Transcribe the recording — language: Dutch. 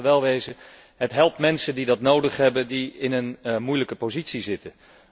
Want laten we wel wezen, het helpt mensen die dat nodig hebben, die in een moeilijke positie zitten.